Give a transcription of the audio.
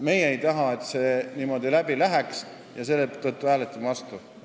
Meie ei taha, et see säärasena läbi läheks, ja seetõttu hääletame vastu.